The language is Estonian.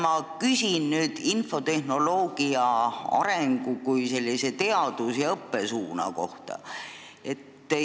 Ma küsin nüüd infotehnoloogia arengu kui teadus- ja õppesuuna kohta.